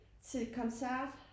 Til koncert